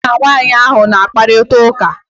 Gi na nwanyị ahụ ọ na-akparịta ụka?